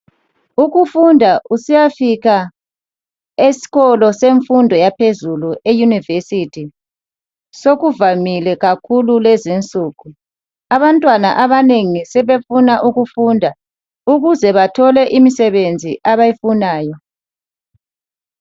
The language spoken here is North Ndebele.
Ukufunda usiyafika esikolo semfundo yaphezulu eyunivesithi sokuvamile kakhulu kulezi insuku. Abantwana abanengi sebefuna ukufunda ukuze bethole imisebenzi abayifunayo.